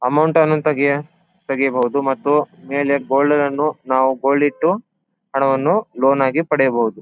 Amount ಅನ್ನು ತೆಗಿ ತೆಗಿಯಬಹುದು ಮತ್ತು ಮೇಲೆ ಗೋಲ್ಡ್ ಅನ್ನನ್ನು ನಾವು ಗೋಲ್ಡ್ ಇಟ್ಟು ಹಣವನ್ನು ಲೋನ್ ಆಗಿ ಪಡೆಯಬಹುದು.